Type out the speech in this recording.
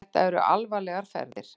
Þetta eru alvarlegar ferðir.